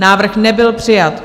Návrh nebyl přijat.